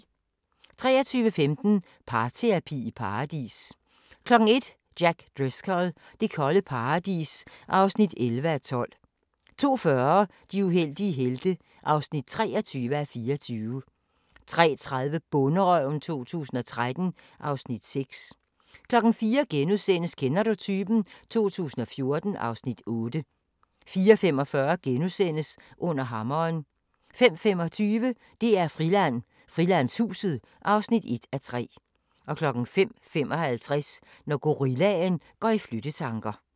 23:15: Parterapi i Paradis 01:00: Jack Driscoll – det kolde paradis (11:12) 02:40: De uheldige helte (23:24) 03:30: Bonderøven 2013 (Afs. 6) 04:00: Kender du typen? 2014 (Afs. 8)* 04:45: Under hammeren * 05:25: DR-Friland: Frilandshuset (1:3) 05:55: Når gorillaen går i flyttetanker